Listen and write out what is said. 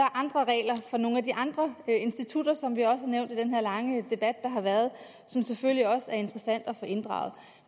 andre regler for nogle af de andre institutter som vi også har nævnt i den her lange debat der har været og som selvfølgelig også er interessante at få inddraget